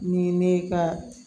Ni ne ka